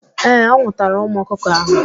Ee, ọ nwụtara ụmụ ọkụkọ ahụ.